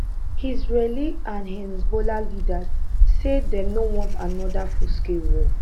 israeli and hezbollah leaders say dey no want anoda fullscale war